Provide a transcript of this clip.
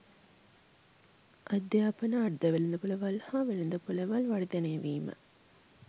අධ්‍යාපන අර්ධවෙළඳපොළවල් හා වෙළඳපොළවල් වර්ධනය වීම